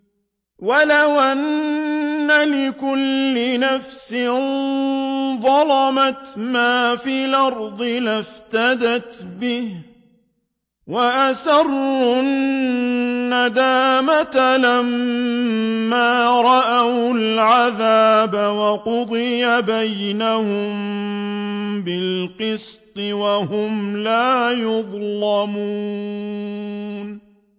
وَلَوْ أَنَّ لِكُلِّ نَفْسٍ ظَلَمَتْ مَا فِي الْأَرْضِ لَافْتَدَتْ بِهِ ۗ وَأَسَرُّوا النَّدَامَةَ لَمَّا رَأَوُا الْعَذَابَ ۖ وَقُضِيَ بَيْنَهُم بِالْقِسْطِ ۚ وَهُمْ لَا يُظْلَمُونَ